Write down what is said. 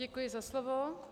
Děkuji za slovo.